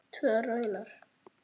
Tvö raunar.